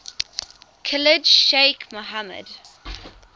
khalid sheikh mohammed